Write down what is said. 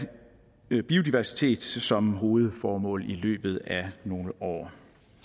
biodiversitet som hovedformål i løbet af nogle år